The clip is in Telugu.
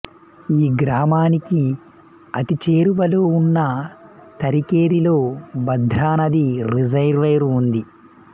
ఈ గ్రామానికి అతి చేరువలో ఉన్న తరికెరిలో భద్ర నది రిజర్వాయిరు ఉంది